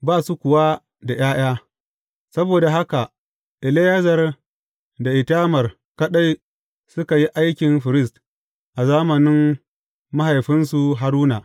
Ba su kuwa da ’ya’ya; saboda haka Eleyazar da Itamar kaɗai suka yi aiki firist a zamanin mahaifinsu Haruna.